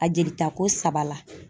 A jelita ko saba la.